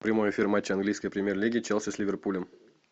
прямой эфир матча английской премьер лиги челси с ливерпулем